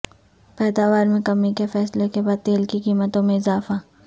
پیداوار میں کمی کے فیصلے کے بعد تیل کی قیمتوں میں اضافہ